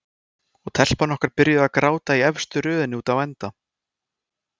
Og telpan okkar byrjuð að gráta í efstu röðinni úti á enda.